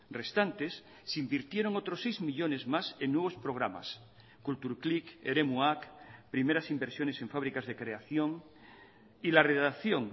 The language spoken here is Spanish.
restantes se invirtieron otros seis millónes más en nuevos programas kultur klik eremuak primeras inversiones en fábricas de creación y la redacción